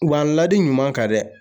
Wa ladi ɲuman kan dɛ